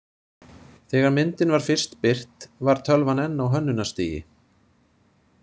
Þegar myndin var fyrst birt var tölvan enn á hönnunarstigi.